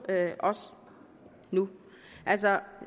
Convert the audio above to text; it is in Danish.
os nu